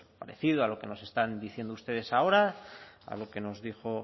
parecido a lo que nos están diciendo ustedes ahora a lo que nos dijo